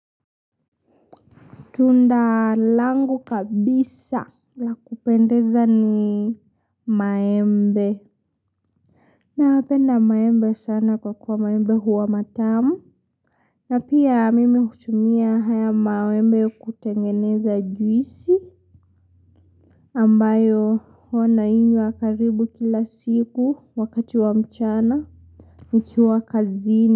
Tunda langu kabisa la kupendeza ni maembe. Huwa napenda maembe sana kwa kuwa maembe huwa matamu. Na pia mimi hutumia haya maembe kutengeneza juisi. Ambayo wana inywa karibu kila siku wakati wa mchana. Nikiwa kazini.